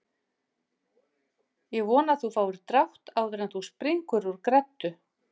Ég vona að þú fáir drátt áður en þú springur úr greddu